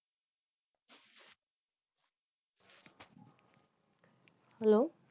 Hello